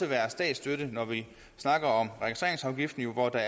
være statsstøtte når vi snakker om registreringsafgiften hvor der